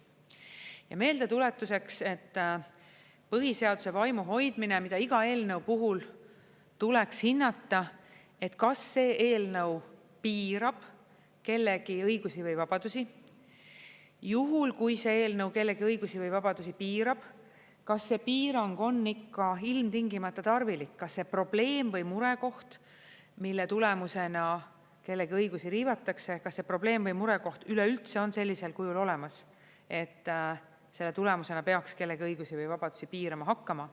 Ja meeldetuletuseks, põhiseaduse vaimu hoidmine, mida iga eelnõu puhul tuleks hinnata, et kas see eelnõu piirab kellegi õigusi või vabadusi, juhul kui see eelnõu kellegi õigusi või vabadusi piirab, kas see piirang on ikka ilmtingimata tarvilik, kas see probleem või murekoht, mille tulemusena kellegi õigusi riivatakse, üleüldse on sellisel kujul olemas, et selle tulemusena peaks kellegi õigusi või vabadusi piirama hakkama.